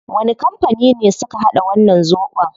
Wani kampani ne suka hada wannan zobon?